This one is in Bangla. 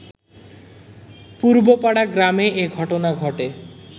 পূর্বপাড়া গ্রামে এ ঘটনা ঘটে